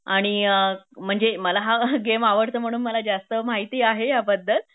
आणि अ म्हणजे मला हा गेम आवडतो म्हणून मला जास्त माहिती आहे याबद्द्ल